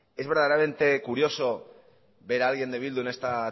es verdaderamente curioso ver a alguien de bildu en esta